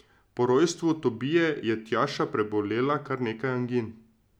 Po rojstvu Tobije je Tjaša prebolela kar nekaj angin.